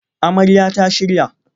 Amarya ta shirya